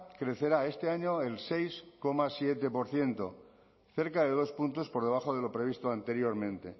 crecerá este año el seis coma siete por ciento cerca de dos puntos por debajo de lo previsto anteriormente